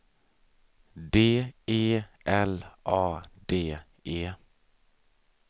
D E L A D E